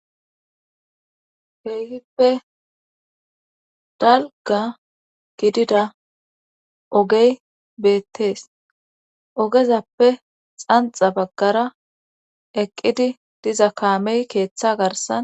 Keehhippe dalga gidida ogey beettees ogezappe xanxa baggara eqqidi diza kaamey keeththa garsan.